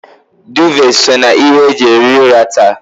Duuve so na ihe e ji ehi ụra taa